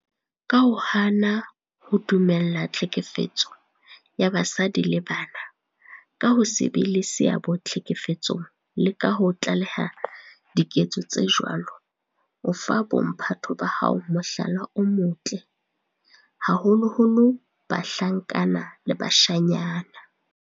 Ka ho hana ho dumella tlhekefetso ya basadi le bana, ka ho se be le seabo tlhekefetsong le ka ho tlaleha diketso tse jwalo, o fa bo mphato ba hao mohlala o motle, haholoholo bahlankana le bashanyana.